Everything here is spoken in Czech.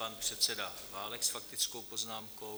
Pan předseda Válek s faktickou poznámkou.